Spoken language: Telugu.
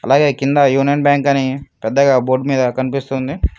బయ్యా కింద యూనియన్ బ్యాంక్ అని పెద్దగా బోర్డు మీద కనిపిస్తుంది.